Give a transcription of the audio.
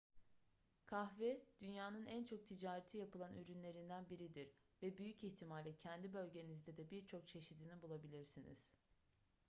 kahve dünyanın en çok ticareti yapılan ürünlerinden biridir ve büyük ihtimalle kendi bölgenizde de birçok çeşidini bulabilirsiniz